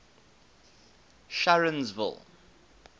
sharonsville